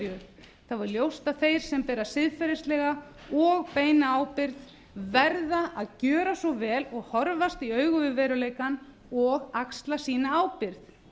einhverju þá er ljóst að þeir sem bera siðferðislega og beina ábyrgð verða að gera svo vel og horfast í augu við veruleikann og axla sína ábyrgð